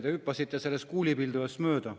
Te hüppasite sellest kuulipildujast mööda.